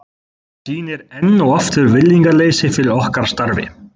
Það sýnir enn og aftur virðingarleysi fyrir okkar starfi.